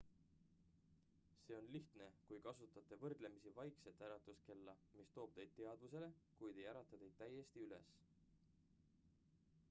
see on lihtne kui kasutate võrdlemisi vaikset äratuskella mis toob teid teadvusele kuid ei ärata teid täiesti üles